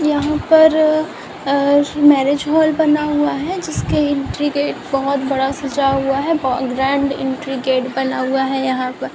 यहाँ पर अ अ मैरिज हॉल बना हुआ है जिसके एंट्री गेट बोहोत बड़ा सजा हुआ है बो ग्रैंड एंट्री गेट बना हुआ है यहाँ पर।